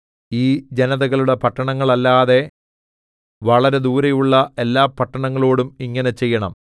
ഈ ജനതകളുടെ പട്ടണങ്ങളല്ലാതെ വളരെ ദൂരയുള്ള എല്ലാപട്ടണങ്ങളോടും ഇങ്ങനെ ചെയ്യണം